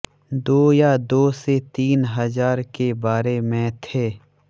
दो या दो से तीन हजार के बारे में थे